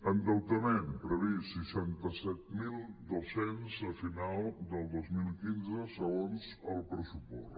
endeutament previst seixanta set mil dos cents a final del dos mil quinze segons el pressupost